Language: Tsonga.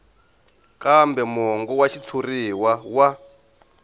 kambe mongo wa xitshuriwa wa